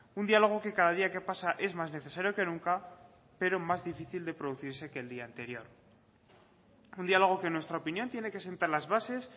un diálogo que cada día que pasa es más necesario que nunca pero más difícil de producirse que el día anterior un diálogo que en nuestra opinión tiene que sentar las bases